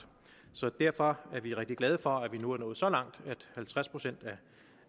så derfor er vi rigtig glade for at vi nu er nået så langt at halvtreds procent